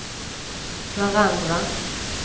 varandra